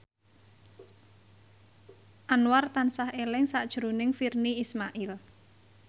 Anwar tansah eling sakjroning Virnie Ismail